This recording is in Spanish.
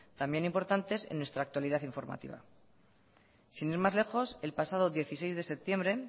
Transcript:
también importantes en nuestra actualidad informativa sin ir más lejos el pasado dieciséis de septiembre